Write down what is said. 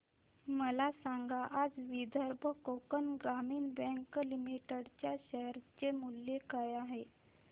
मला सांगा आज विदर्भ कोकण ग्रामीण बँक लिमिटेड च्या शेअर चे मूल्य काय आहे